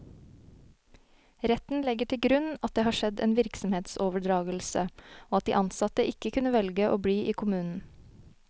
Retten legger til grunn at det har skjedd en virksomhetsoverdragelse, og at de ansatte ikke kunne velge å bli i kommunen.